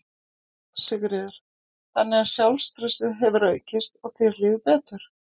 Sigríður: Þannig að sjálfstraustið hefur aukist og þér líður betur?